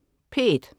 P1: